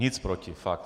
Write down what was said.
Nic proti, fakt.